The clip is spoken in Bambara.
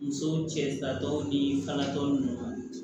Muso cɛsiri tɔ ni kalantɔ ninnu